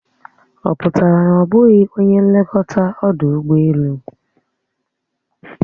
Ọ pụtara na ọ bụghị onye nlekọta ọdụ ụgbọelu?